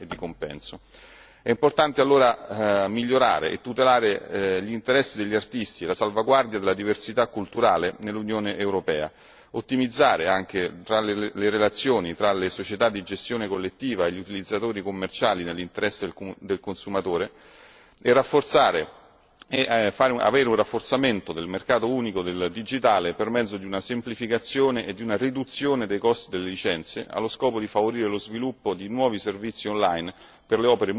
È importante allora migliorare e tutelare gli interessi degli artisti e la salvaguardia della diversità culturale nell'Unione europea, ottimizzare anche le relazioni tra le società di gestione collettiva e gli utilizzatori commerciali nell'interesse del consumatore e rafforzare il mercato unico del digitale per mezzo di una semplificazione e di una riduzione dei costi delle licenze, allo scopo di favorire lo sviluppo di nuovi servizi online per le opere musicali su base